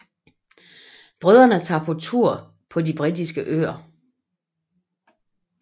Brødrene tager på tur på de britiske øer